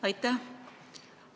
Aitäh!